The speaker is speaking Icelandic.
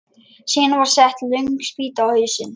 Síðan var sett löng spýta á hausinn.